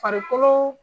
Farikolo